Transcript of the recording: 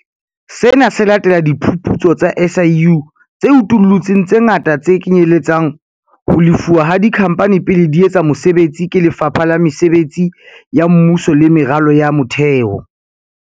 Sena se latela diphuputso tsa SIU tse utullutseng tse ngata tse kenyelletsang ho lefuwa ha dikhamphane pele di etsa mosebetsi ke Lefapha la Mesebetsi ya Mmuso le Meralo ya Motheo.